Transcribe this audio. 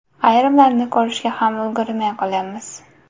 Ayrimlarini ko‘rishga ham ulgurmay qolyapmiz.